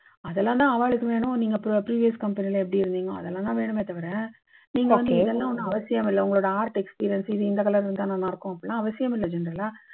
அதெல்லாம் தான் ஆவாளுக்கு வேணும். நீங்க previous firm ல எப்படி இருந்தீங்க அதெல்லாம் தான் வேணுமே தவிர நீங்க வந்து இதெல்லாம் ஒண்ணும் அவசியமில்லை. உங்க art experience இந்த color இருந்தா நன்னா இருக்கும். அதெல்லாம் அவசியமில்லை, இல்லீங்களா?